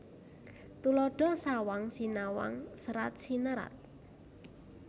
Tuladha sawang sinawang serat sinerat